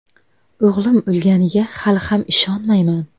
O‘g‘lim o‘lganiga hali ham ishonmayman.